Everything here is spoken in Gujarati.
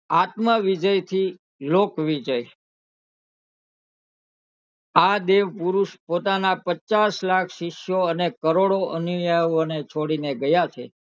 આત્મ વિજય થી લોક વિજય આ દેવ પુરુષ પોતાના પચ્ચાસ લાખ શિષ્યો અને કરોડો અનુયાયી ને છોડી ને ગયા છે